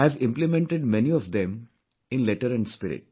I have implemented many of them in letter & spirit